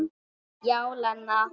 Já, Lena.